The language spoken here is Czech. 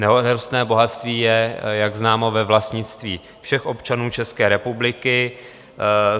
Nerostné bohatství je, jak známo, ve vlastnictví všech občanů České republiky.